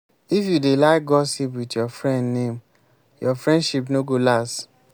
if you dey like gossip with your friend name your friendship no go last.